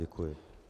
Děkuji.